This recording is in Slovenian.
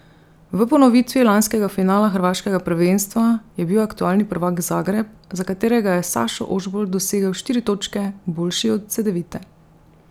V ponovitvi lanskega finala hrvaškega prvenstva je bil aktualni prvak Zagreb, za katerega je Sašo Ožbolt dosegel štiri točke, boljši od Cedevite.